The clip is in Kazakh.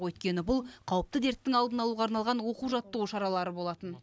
өйткені бұл қауіпті дерттің алдын алуға арналған оқу жаттығу шаралары болатын